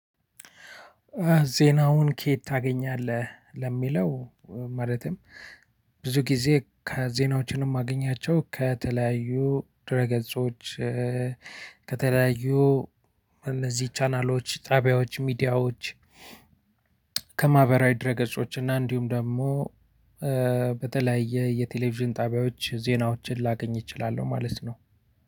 ዜናውን ከየት ታገኛለህ? ለሚለው ማለትም ብዙ ጊዜ ከዜናዎችን የማገኛቸው ከተለያዩ ድህረ ገጾች ከተለያዩ እነዚህ ቻናሎች ጣቢያዎች ሚዲያዎች ከማህበራዊ ድህረ ገጾችና እንዲሁም ደግሞ በተለያየ የቴሌቭዥን ጣቢያዎች ዜናዎችን ላገኝ እችላለሁ ማለት ነው።